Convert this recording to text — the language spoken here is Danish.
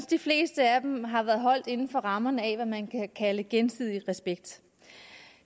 de fleste af dem har været holdt inden for rammerne af hvad man kan kalde gensidig respekt